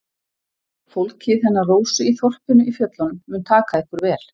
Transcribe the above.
Fólkið hennar Rósu í þorpinu í fjöllunum mun taka ykkur vel.